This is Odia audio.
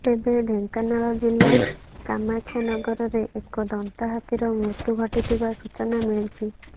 ତେବେ ଢେଙ୍କାନାଳ ଜିଲ୍ଲା କାମାକ୍ଷାନଗରରେ ଏକ ଦନ୍ତା ହାତୀର ମୃତ୍ୟୁ ଘଟିଥିବା ସୂଚନା ମିଳିଛି